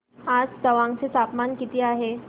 आज तवांग चे तापमान किती आहे